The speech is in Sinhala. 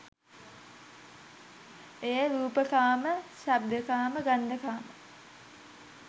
එය රූපකාම, ශබ්දකාම, ගන්ධකාම,